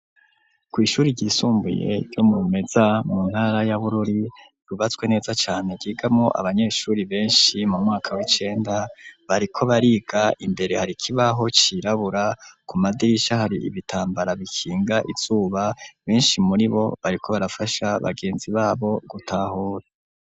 Kw'ishuri ryisumbuye, ryo mu Rumeza, mu ntara ya Bururi, ryubatswe neza cane; ryigamwo abanyeshuri benshi, mu mwaka w'icenda, bariko bariga; imbere hari ikibaho, cirabura, ku madirisha, hari ibitambara, bikinga izuba; benshi muri bo, bariko barafasha, bagenzi babo, gutahura.